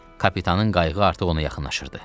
Kapitanın qayığı artıq ona yaxınlaşırdı.